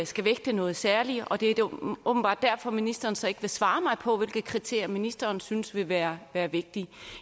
skal vægtes noget særligt og det er åbenbart derfor ministeren så ikke vil svare mig på hvilke kriterier ministeren synes vil være være vigtige